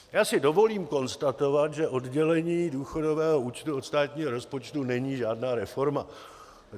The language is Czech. Já si dovolím konstatovat, že oddělení důchodového účtu od státního rozpočtu není žádná reforma.